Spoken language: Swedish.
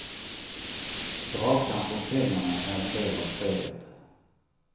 Dragkamp om pengarna är en del av spelet.